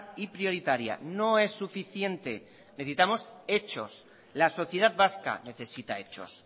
y prioritaria no es suficiente necesitamos hechos la sociedad vasca necesita hechos